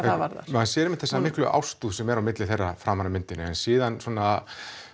maður sér einmitt þessa miklu ástúð sem er á milli þeirra framan af myndinni en síðan svona